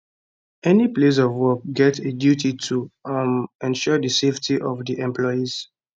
any place of work get a duty to um ensure di safety of dia employees